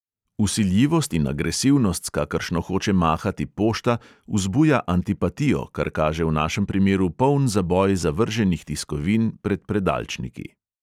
Vsiljivost in agresivnost, s kakršno hoče mahati pošta, vzbuja antipatijo, kar kaže v našem primeru poln zaboj zavrženih tiskovin pod predalčniki.